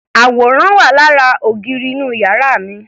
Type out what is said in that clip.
Àwòrán wà lára ògiri inú yàrá mi.